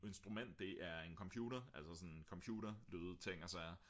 instrument det er en computer altså computerlyde og ting og sager